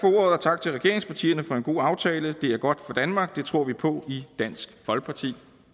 tak til regeringspartierne for en god aftale det er godt for danmark det tror vi på i dansk folkeparti